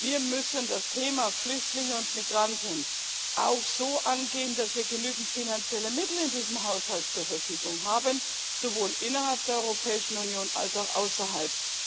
hat. Wir müssen das Thema Flüchtlinge und Migranten auch so angehen, dass wir genügend finanzielle Mittel in diesem Haushalt zur Verfügung haben sowohl innerhalb der Europäischen Union als auch außerhalb.